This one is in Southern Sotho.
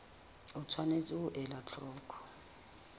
o tshwanetse ho ela hloko